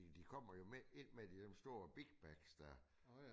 De kommer jo med ind med det i sådan en stor big bag der